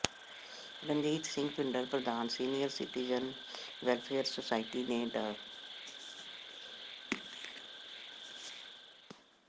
ਰਣਜੀਤ ਸਿੰਘ ਭਿੰਡਰ ਪ੍ਰਧਾਨ senior citizens welfare society ਨੇ ਡਾ